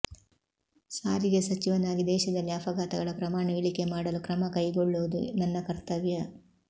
ಸಾರಿಗೆ ಸಚಿವನಾಗಿ ದೇಶದಲ್ಲಿ ಅಪಘಾತಗಳ ಪ್ರಮಾಣ ಇಳಿಕೆ ಮಾಡಲು ಕ್ರಮ ಕೈಗೊಳ್ಳುವುದು ನನ್ನ ಕರ್ತವ್ಯ